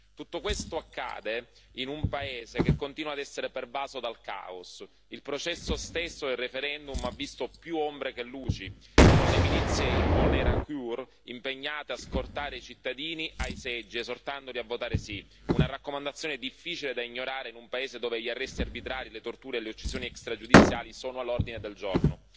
Tutto questo accade in un paese che continua ad essere pervaso dal caos il processo stesso del referendum ha visto più ombre che luci, con le milizie Imbonerakure impegnate a scortare i cittadini ai seggi, esortandoli a votare sì, una raccomandazione difficile da ignorare in un paese dove gli arresti arbitrari, le torture e le uccisioni extragiudiziali sono all'ordine del giorno.